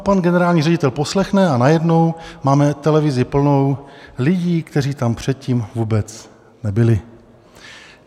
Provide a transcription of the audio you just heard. A pan generální ředitel poslechne, a najednou máme televizi plnou lidí, kteří tam předtím vůbec nebyli.